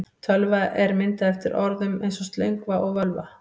Tölva er myndað eftir orðum eins og slöngva og völva.